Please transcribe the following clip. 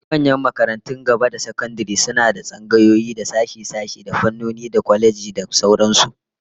Dukkan manyan makarantun gaba da sakandare suna da tsangayoyi, da sashe-sashe, da fannoni, da kwalejoji da sauran su